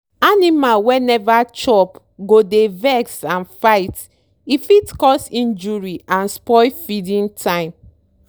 animal wey neva chopgo dey vex and fight e fit cause injury and spoil feeding time.